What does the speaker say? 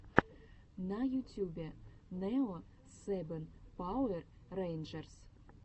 на ютубе нео сэбэн пауэр рэйнджерс